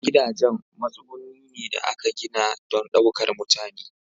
Gidajen matsuguni ne da aka gina don ɗaukar mutane.